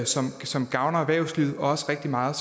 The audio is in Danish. som som gavner erhvervslivet og også rigtig meget